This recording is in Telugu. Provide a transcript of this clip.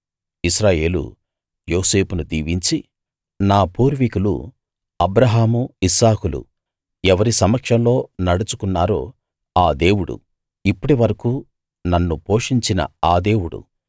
ఇశ్రాయేలు యోసేపును దీవించి నా పూర్వీకులు అబ్రాహాము ఇస్సాకులు ఎవరి సమక్షంలో నడుచుకున్నారో ఆ దేవుడు ఇప్పటి వరకూ నన్ను పోషించిన ఆ దేవుడు